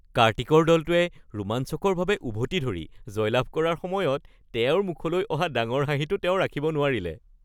কাৰ্তিকৰ দলটোৱে ৰোমাঞ্চকৰভাৱে উভতি ধৰি জয়লাভ কৰাৰ সময়ত তেওঁৰ মুখলৈ অহা ডাঙৰ হাঁহিটো তেওঁ ৰাখিব নোৱাৰিলে।